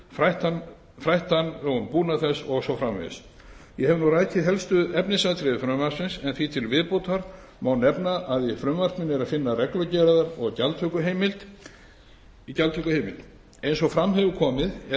fræða hann um búnað þess og svo framvegis ég hef nú rakið helstu efnisatriði frumvarpsins en því til viðbótar má nefna að í frumvarpinu er að finna reglugerðar og gjaldtökuheimild eins og fram hefur komið er